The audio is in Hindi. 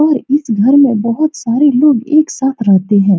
और इस घर में बहुत सारे लोग एक साथ रहते हैं।